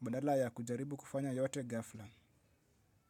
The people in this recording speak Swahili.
Badala ya kujaribu kufanya yote ghafla.